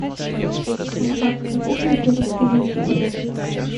адская кухня первый сезон